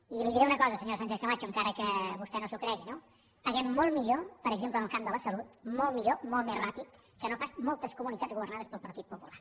i li diré una cosa senyora sánchez camacho encara que vostè no s’ho cregui no paguem molt millor per exemple en el camp de la salut molt millor molt més ràpidament que no pas moltes comunitats governades pel partit popular